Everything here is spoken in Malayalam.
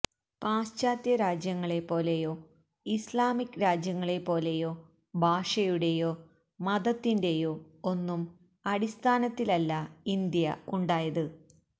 പാശ്ചാത്യ രാജ്യങ്ങളെ പോലെയോ ഇസ്ലാമിക് രാജ്യങ്ങളെ പോലെയോ ഭാഷയുടേയോ മതത്തിന്റെയോ ഒന്നും അടിസ്ഥാനത്തിലല്ല ഇന്ത്യ ഉണ്ടായത്